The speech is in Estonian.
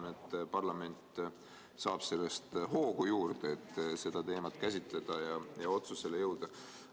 Ma arvan, et parlament saab sellest hoogu juurde, et seda teemat käsitleda ja otsusele jõuda.